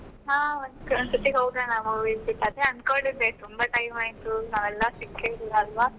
ಹಾ, ಒಂದು ಸರ್ತಿ ಹೋಗೋಣ movies ಗೆ ಅದೇ. ಅಂದುಕೊಂಡಿದ್ದೆ, ತುಂಬಾ time ಆಯಿತು ನಾವೆಲ್ಲ ಸಿಕ್ಕೇ ಇಲ್ಲಲ್ವ.